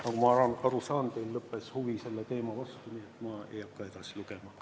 Nagu ma aru saan, teil lõppes huvi selle teema vastu, nii et ma ei hakka edasi lugema.